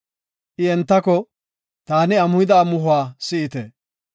I entako, “Taani amuhida amuhuwa si7ite.